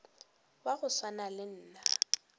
wa go swana le nna